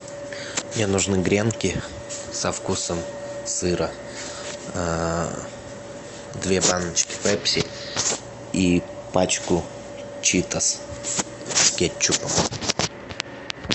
мне нужны гренки со вкусом сыра две баночки пепси и пачку читос с кетчупом